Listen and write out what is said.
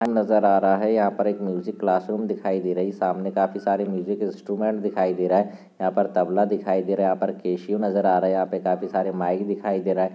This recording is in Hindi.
नजर आ रहा है यहाँ पर एक म्यूजिक क्लासरूम दिखाई दे रही है सामने काफी सारे म्यूजिक इन्स्टूमेंट दिखाई दे रहे है यहाँ पर तबला दिखाई दे रहा है यहाँ पर केशियो नजर आ रहा है यहाँ पर काफी सारे माइक दिखाई दे रहे है।